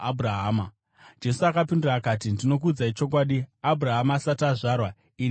Jesu akapindura akati, “Ndinokuudzai chokwadi, Abhurahama asati azvarwa ini ndiripo!”